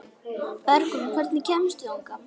Bergrún, hvernig kemst ég þangað?